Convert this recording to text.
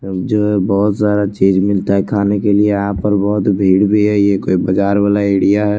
जो है बहोत सारा चीज मिलता है खाने के लिए यहां पर बहोत भीड़ भी है ये कोई बाजार वाला एड़िया है।